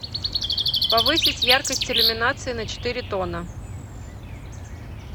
повысить яркость иллюминации на четыре тона